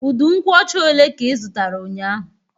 Udu nkwocha ole ka ị zụtara ụnyaahụ?